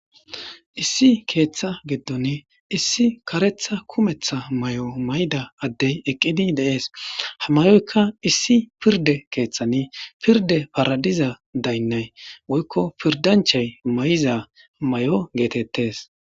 issi ketha gidoni issi karetha kumetha mayo mayida adey eqidi de'es ha mayoyka issi pirde kethani pirde parazida daynay woyko pirdanchay mayiza mayo getetes